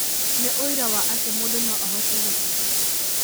Nĩ ũira wa atĩ mũndũ no ahote gũtiga.